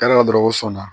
dɔrɔn ko sɔn na